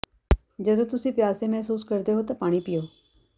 ਜਦੋਂ ਤੁਸੀਂ ਪਿਆਸੇ ਮਹਿਸੂਸ ਕਰਦੇ ਹੋ ਤਾਂ ਪਾਣੀ ਪੀਓ